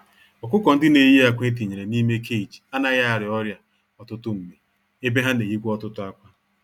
Ọkụkọ-ndị-neyi-ákwà etinyere n'ime cage anaghị arịa ọrịa ọtụtụ mgbe, ebe ha n'eyikwa ọtụtụ ákwà.